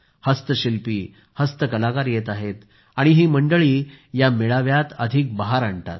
हस्तशिल्पी हस्तकलाकार येत आहेत आणि ही मंडळी या मेळाव्यात अधिक बहार आणतात